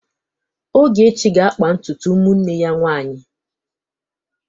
Ogechi ga-akpa ntutu ụmụnne ya nwaanyị.